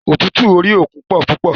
Ọ̀tútù orí òkun pọ púpọ̀.